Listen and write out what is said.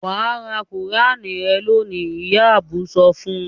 "Wà á ra Kùránì rẹ lónìí!" Ìyá Adu sọ fún un.